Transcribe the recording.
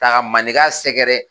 K maninka sɛgɛrɛ.